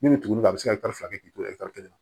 Min bɛ tugu a bɛ se ka fila kɛ k'i to kelen na